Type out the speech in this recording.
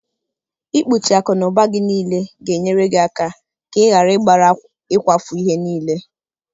Ikpuchi akụ n'ụba gị niile ga-enyere gị aka ka ị ghara ịgbara ịkwafu ihe niile.